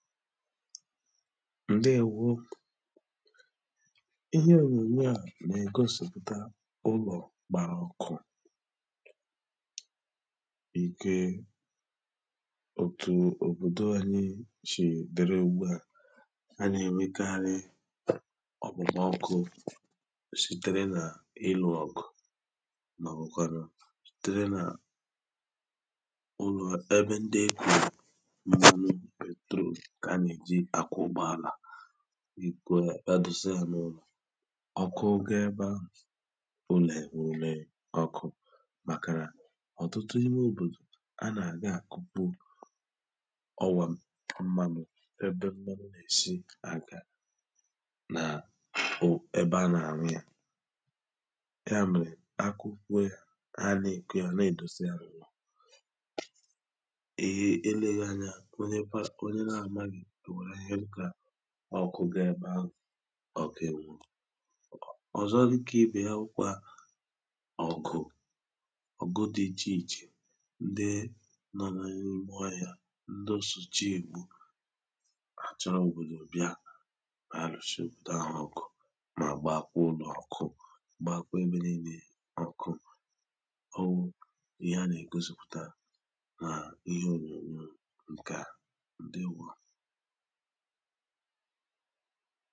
ǹdeèwo!, ihe ònùnyè à na-ègosìpụ̀ta ụlọ̀ gbàrà ọkụ, nke òtù òbòdò anyị shìrị dịrị ùgbù, ha a nà-èwekarị ọkpụkpọ ọkụ sịtere na ịlụ ọgwụ, maọbụ sịtere na ụlọ ebe ndị ekwụlụ petrọl nke ana-ejị akụ ụgbọala edọsa ya n'ụlọ ọku ga ebe ahụ ụlọ ewewe ọkụ màkà nà ọ̀tụtụ ime òbòdò a nà-àgị àkụkpụ ọwȧ mmadụ̀ ebe mmadụ̀ n’èsi aka nà o ebe a nà-àñụ yȧ, ya mèrè akụ kwe a anà-èkè a na-èdosa yȧ n'ụlọ, eleghị anya ọnye para ọnye na amaghị ọnwere ahịhịa ka ọkụ ga ebe ahụ ọ̀ kà ewu ọ̀zọ dịkà ibè ya wụkwa ọ̀kụ̀ ọ̀go dị ichè ichè ndị nọ na ịme ịhụ ọhịa, ndị o sụchìe ègbu àchọrọ òbòdò bịà àlụ̀shị cha ha ọ̀kụ mà gbaa kwa ụlọ ọkụ, gbakwaebe nịle ọkụ, owu ihe a nà-ègosìpụ̀ta nà ihe ònyònyò ǹkà a ǹdeèwo.